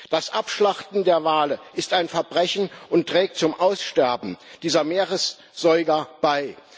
Das Abschlachten der Wale ist ein Verbrechen und trägt zum Aussterben dieser Meeressäuger bei.